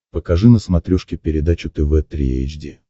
покажи на смотрешке передачу тв три эйч ди